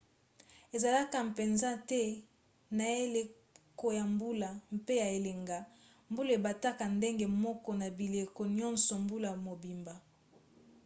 ezalaka mpenza te na eleko ya mbula mpe ya elanga mbula ebetaka ndenge moko na bileko nyonso mbula mobimba